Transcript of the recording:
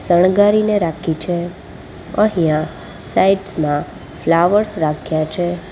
શણગારીને રાખી છે અહીંયા સાઈડ માં ફ્લાવર્સ રાખ્યા છે.